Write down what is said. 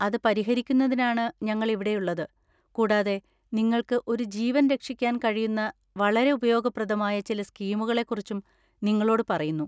അത് പരിഹരിക്കുന്നതിനാണ് ഞങ്ങൾ ഇവിടെയുള്ളത് കൂടാതെ നിങ്ങൾക്ക് ഒരു ജീവൻ രക്ഷിക്കാൻ കഴിയുന്ന വളരെ ഉപയോഗപ്രദമായ ചില സ്കീമുകളെക്കുറിച്ചും നിങ്ങളോട് പറയുന്നു.